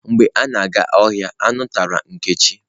Mgbe a na-aga ohia, anu turu nkechi.